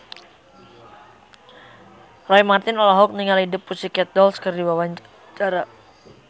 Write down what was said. Roy Marten olohok ningali The Pussycat Dolls keur diwawancara